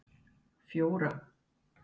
fjóra